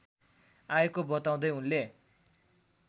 आएको बताउँदै उनले